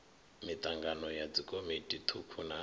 mitangano ya dzikomiti thukhu na